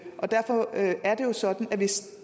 derfor er er det jo sådan at hvis